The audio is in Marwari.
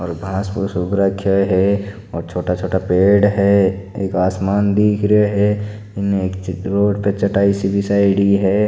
और घास पूस उग रखे है और छोटा छोटा पेड़ है एक आसमान दिख रहा है इन चित्रों पे चटाई सी बिछाईडी है।